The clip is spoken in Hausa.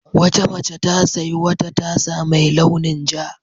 Wata mace ta sayi wata tasa mai launin ja.